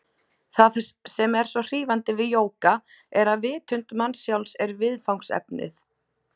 Það sem er svo hrífandi við jóga er að vitund manns sjálfs er viðfangsefnið.